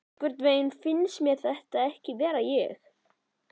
Einhvernveginn finnst mér þetta ekki vera ég.